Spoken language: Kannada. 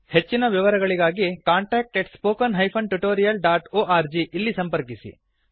ಹೆಚ್ಚಿನ ವಿವರಗಳಿಗಾಗಿ contact at spoken hyphen tutorial dot org ಇಲ್ಲಿ ಸಂಪರ್ಕಿಸಿ